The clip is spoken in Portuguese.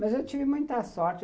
Mas eu tive muita sorte.